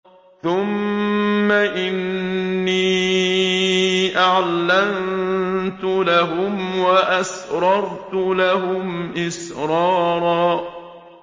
ثُمَّ إِنِّي أَعْلَنتُ لَهُمْ وَأَسْرَرْتُ لَهُمْ إِسْرَارًا